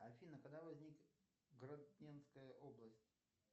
афина когда возник гродненская область